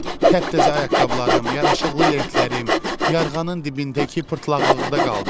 Təptəzə ayaqqabılarım, yaraşıqlı lentlərim yarğanın dibindəki pırtlaqlıqda qaldı.